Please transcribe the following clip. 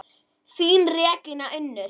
Þín Regína Unnur.